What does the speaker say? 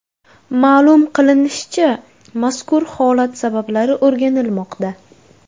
Ma’lum qilinishicha, mazkur holat sabablari o‘rganilmoqda.